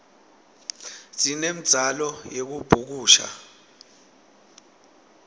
sinemdzalo yekubhukusha